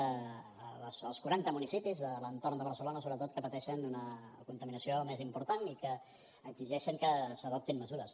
als quaranta municipis de l’entorn de barcelona sobretot que pateixen una contaminació més important i que exigeixen que s’adoptin mesures